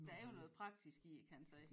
Der er jo noget praktisk i det kan man sige